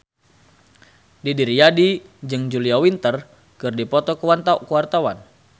Didi Riyadi jeung Julia Winter keur dipoto ku wartawan